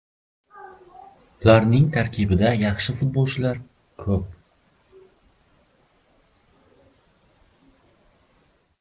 Ularning tarkibida yaxshi futbolchilar ko‘p.